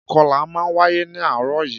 Ìkọlà náà wáyé ní àárọ̀ yìí